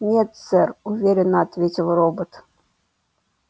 нет сэр уверенно ответил робот